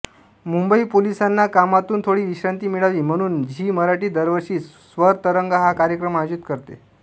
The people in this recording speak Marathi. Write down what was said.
मुंबई पोलिसांना कामातून थोडी विश्रांती मिळावी म्हणून झी मराठी दरवर्षी स्वरतरंग हा कार्यक्रम आयोजित करते